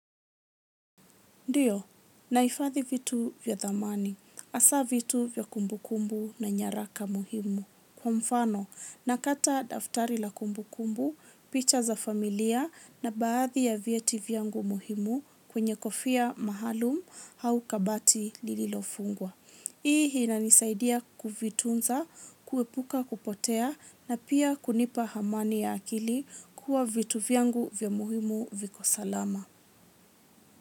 Ndiyo, nahifadhi vitu vya dhamani. Hasaa vitu vya kumbu kumbu na nyaraka muhimu. Kwa mfano, nakata daftari la kumbu kumbu, picha za familia na baadhi ya vieti vyangu muhimu kwenye kofia maalum au kabati lililofungwa. Hii inanisaidia kuvitunza, kuepuka kupotea na pia kunipa amani ya akili kuwa vitu vyangu vya muhimu viko salama.